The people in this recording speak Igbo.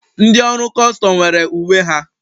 Ndị ọrụ Kustum nwere uwe ha.